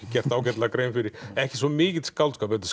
gert ágætlega grein fyrir ekki svo mikill skáldskapur þetta